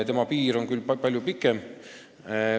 Tema piir on küll palju pikem.